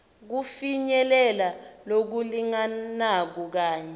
kufinyelela lokulinganako kanye